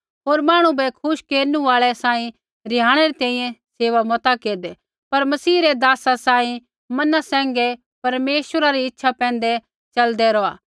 होर मांहणु बै खुश केरनु आल़ै सांही रिहाणै री तैंईंयैं सेवा मता केरदै पर मसीह रै दासा सांही मना सैंघै परमेश्वरा री इच्छा पैंधै च़लदै रौहा